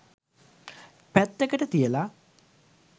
පැත්තක තියලා